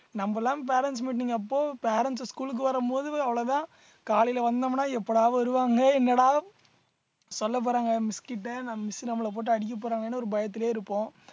நம்ம எல்லாம் parents meeting அப்போ parents அ school க்கு வரும்போது அவ்வளவுதான் காலையில வந்தோம்னா எப்படா வருவாங்க என்னடா சொல்லப் போறாங்க miss கிட்ட நான் miss நம்மள போட்டு அடிக்க போறாங்கன்னு ஒரு பயத்துலயே இருப்போம்